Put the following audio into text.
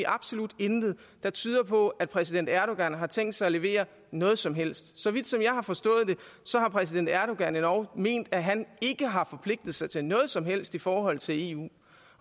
absolut intet der tyder på at præsident erdogan har tænkt sig at levere noget som helst så vidt jeg har forstået det har præsident erdogan endog ment at han ikke har forpligtet sig til noget som helst i forhold til eu